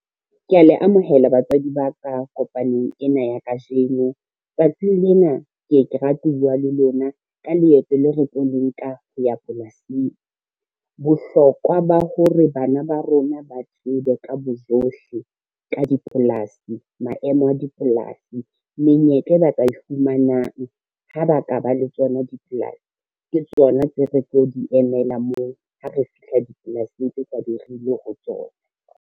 Kea le amohela batswadi ba ka kopanong ena ya kajeno. Tsatsing lena ke e ka rate ho bua le lona ka leeto leo re tlo le nka ho ya polasing. Bohlokwa ba ho re bana ba rona ba thuswe ka bojohle ka dipolasi, maemo a dipolasi, menyetla e ba ka e fumanang ha ba ka ba le tsona dipolasi, ke tsona tseo re tlo di emela moo ha re fihla dipolasing tse tla be re ile ho tsona.